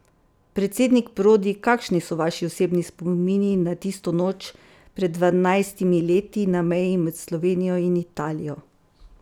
Predsednik Prodi, kakšni so vaši osebni spomini na tisto noč pred dvanajstimi leti na meji med Slovenijo in Italijo?